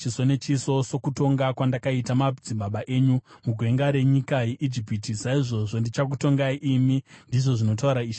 Sokutonga kwandakaita madzibaba enyu mugwenga renyika yeIjipiti, saizvozvo ndichakutongai imi, ndizvo zvinotaura Ishe Jehovha.